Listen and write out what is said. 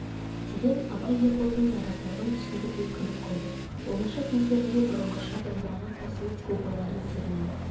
деген абай ерболдың наразылығын түсінді де күліп қойды оңаша кездерінде бұрынғыша домбыраға қосылып көп ойларын термелеп